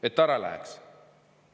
–, et ta ära läheks.